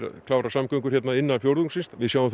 klára samgöngur innan fjórðungsins við sjáum